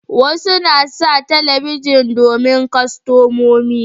Wasu na sa talabijin domin kastamomi